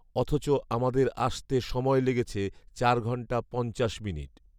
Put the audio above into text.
অথচ আমাদের আসতে সময় লেগেছে চার ঘন্টা পঞ্চাশ মিনিট